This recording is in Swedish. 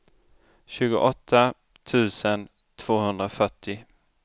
tjugoåtta tusen tvåhundrafyrtio